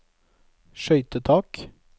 skøytetak